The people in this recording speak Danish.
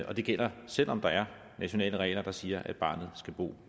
og det gælder selv om der er nationale regler der siger at barnet skal bo